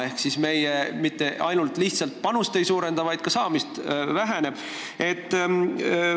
Ehk me mitte ainult ei suurenda panust, vaid ka sealt raha saamine väheneb.